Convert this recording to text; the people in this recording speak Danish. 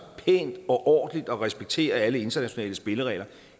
pænt og ordentligt og respekterer alle internationale spilleregler